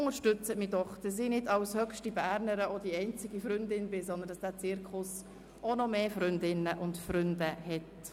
Unterstützen Sie mich, sodass ich als höchste Bernerin nicht die einzige Freundin bin und auf dass dieser Zirkus noch mehr Freundinnen und Freunde bekommt.